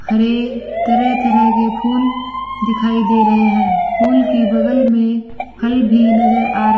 हरे तरह-तरह के फूल दिखाई दे रहे हैं। फूल के बगल में फल भी नज़र आ र --